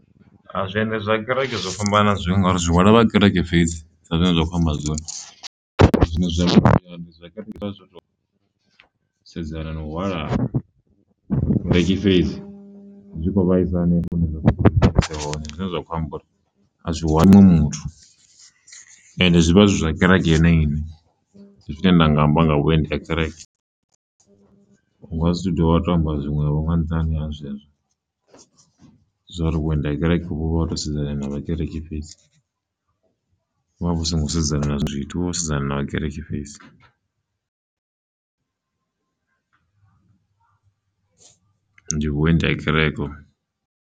Zwiendi zwa kereke zwo fhambana na zwiṅwe ngauri zwi hwala vha kereke fhedzi sa zwine zwa kho amba zwone, zwine zwa vhukuma ndi zwa kereke zwo to sedzana na u hwala vhakereki fhedzi zwi kho vhaisa hanefho hune zwa khou tea zwi vha ise hone, zwine zwa khou amba uri a zwi hwali muṅwe muthu, ende zwi vha zwizwa kereke yone ine, ndi zwine nda nga amba nga vhuendi ha kereke unga si tu dovha wa to amba zwiṅwevho nga nṱhani ha zwezwo zwa uri vhuendi ha kereke vhuvha ho to sedzana na vhakereki fhedzi, vha vhu songo sedzana na zwiṅwe zwithu vhu vha vho sedzana na kereke fhedzi ndi vhuendi ha kereke hovho.